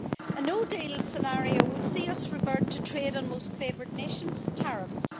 A no deal scenario would see us revert to trade on most favoured nations tariffs.